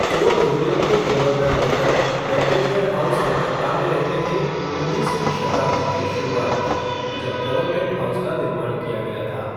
Fort William के governor general, Belvedere House, Calcutta में रहते थे, उन्नीसवीं शताब्दी की शुरुआत तक, जब गवर्नमेंट हाउस का निर्माण किया गया था।